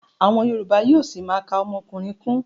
Àwọn yorùbá yóó ṣima ka ọmọkùnrin kún.